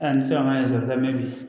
Aa ne sera ka sɔrɔ ka mɛn bi